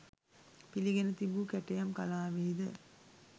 පිළිගෙන තිබූ කැටයම් කලාවෙහිද